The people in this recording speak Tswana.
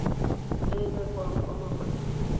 e e rekwang kwa mafatsheng